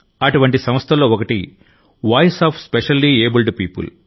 అటువంటి సంస్థల్లో ఒకటి voice of specially abled people